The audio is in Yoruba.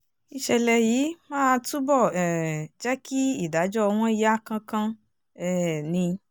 ìṣẹ̀lẹ̀ yìí máa túbọ̀ um jẹ́ kí ìdájọ́ wọn yá kánkán um ni